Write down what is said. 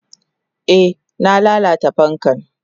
Eh na lalata fankan.